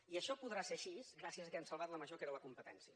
i això podrà ser així gràcies al fet que hem salvat la major que era la competència